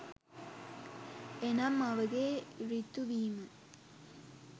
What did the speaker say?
එනම් මවගේ ඍතු වීමත්